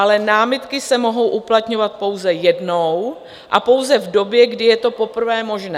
Ale námitky se mohou uplatňovat pouze jednou a pouze v době, kdy je to poprvé možné.